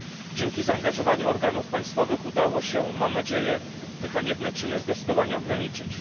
Dzięki zaangażowaniu organów państwowych udało się mam nadzieję te haniebne czyny zdecydowanie ograniczyć.